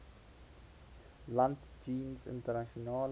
land jeens internasionale